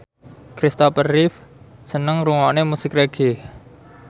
Kristopher Reeve seneng ngrungokne musik reggae